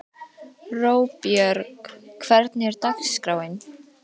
Róbjörg, hvernig er dagskráin?